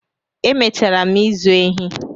Emechara m ịzụ ehi